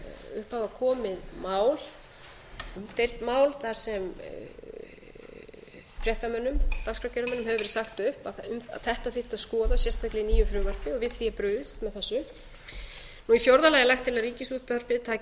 upp hafa komið umdeild mál þar sem fréttamönnum dagskrárgerðarmönnum hefur verið sagt upp að ætti þyrfti að skoða sérstaklega í nýju frumvarpi við því er brugðist með þessu í fjórða lagi er lagt til að ríkisútvarpið taki upp